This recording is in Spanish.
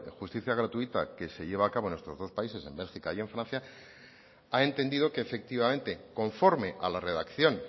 justicia gratuita que se lleva a cabo en estos dos países en bélgica y en francia ha entendido que efectivamente conforme a la redacción